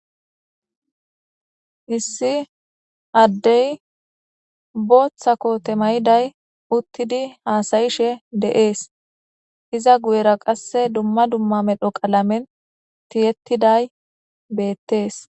Issi addey booththa koote mayiday uttidi dess iza guyera qasse dumma dumma medhdho qallame tiyettiday bettes.